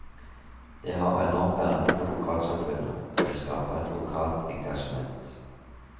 Det har enorm verdi for lokalsamfunnet, det skaper et lokalt engasjement.